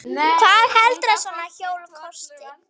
Hvað heldurðu að svona hjól kosti?